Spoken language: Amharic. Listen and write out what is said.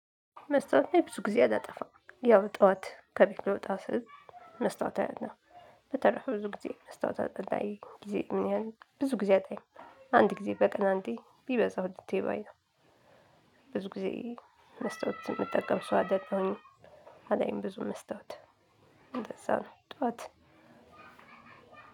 መስታወት ላይ ብዙ ጊዜ አላጠፋም ያው ጠዋት ከቤት ልወጣ ስል መስታወት አያለው። በተረፈ ብዙ ጊዜ መስታወት አታይ ጊዜ ምን? ያህል ብዙ ጊዜ አላይም። አንድ ጊዜ በቀን አንድ ቢበዛው ሁለቴ ባይ ነው። ብዙ ጊዜ መስታወት የምጠቀም ሰው አይደለሁኝም። አላይም ብዙ መስታወት እንደዛ ነው ጠዋት።